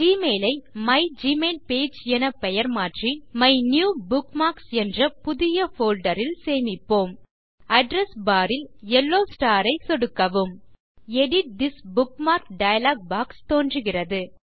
Gmail ஐ my mail page என பெயர் மாற்றி அதை மைனியூபுக்மார்க்ஸ் என்ற புதிய போல்டர் ல் சேமிப்போம் அட்ரெஸ் பார் ல் யெல்லோ ஸ்டார் ஐ சொடுக்கவும் edit this bookmark dialog box தோன்றுகிறது